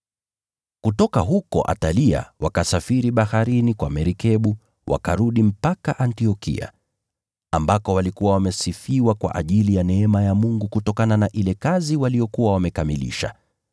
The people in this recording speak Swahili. Kutoka Atalia wakasafiri baharini wakarudi Antiokia, ambako walikuwa wamesifiwa kwa ajili ya neema ya Mungu kutokana na ile huduma waliyokuwa wameikamilisha.